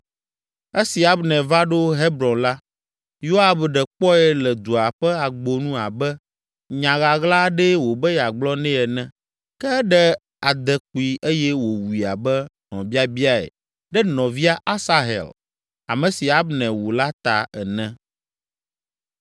Esi Abner va ɖo Hebron la, Yoab ɖe kpɔe le dua ƒe agbonu abe nya ɣaɣla aɖee wòbe yeagblɔ nɛ ene, ke eɖe adekpui eye wòwui abe hlɔ̃biabiae ɖe nɔvia Asahel, ame si Abner wu la ta ene.